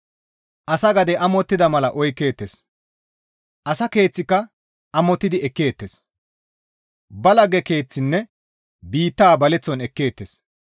Asa gade amottida mala oykkeettes; asa keeththika amottidi ekkeettes; ba lagge keeththinne biitta baleththon ekkeettes.